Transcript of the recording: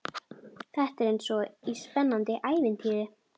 Þetta er eins og í spennandi ævintýri.